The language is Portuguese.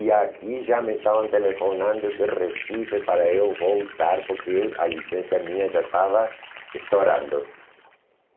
E aqui já me estavam telefonando de Recife para eu voltar porque a licença minha já estava estourando.